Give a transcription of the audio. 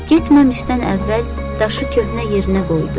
Getməmişdən əvvəl daşı köhnə yerinə qoydu.